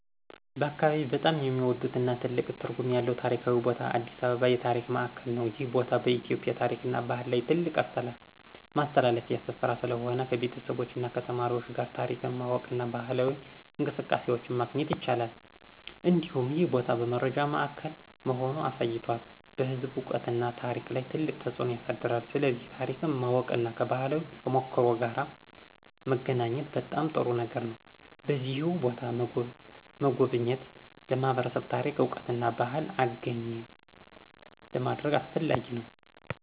በአካባቢዬ በጣም የሚወዱትና ትልቅ ትርጉም ያለው ታሪካዊ ቦታ አዲስ አበባ የታሪክ ማዕከል ነው። ይህ ቦታ በኢትዮጵያ ታሪክና ባህል ላይ ትልቅ ማስተላለፊያ ስፍራ ስለሆነ፣ ከቤተሰቦች እና ተማሪዎች ጋር ታሪክን ማወቅና ባህላዊ እንቅስቃሴዎችን ማግኘት ይቻላል። እንዲሁም ይህ ቦታ በመረጃ ማዕከል መሆኑን አሳይቷል፣ በሕዝብ እውቀትና ታሪክ ላይ ትልቅ ተፅዕኖ ያሳያል። ስለዚህ ታሪክን ማወቅና ከባህላዊ ተሞክሮ ጋር መገናኘት በጣም ጥሩ ነገር ነው። በዚሁ ቦታ መጎብኘት ለማህበረሰብ ታሪክ እውቀትና ባህልን አገኘ ለማድረግ አስፈላጊ ነው።